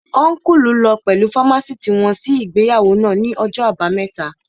Ọ́nkùlù lọ pẹ̀lú fámásìtì wọn sí ìgbéyàwó náà ní ọjọ́ àbámẹ́ta